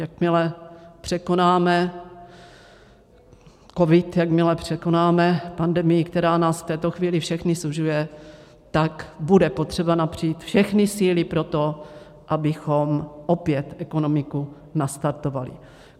Jakmile překonáme covid, jakmile překonáme pandemii, která nás v této chvíli všechny sužuje, tak bude potřeba napřít všechny síly pro to, abychom opět ekonomiku nastartovali.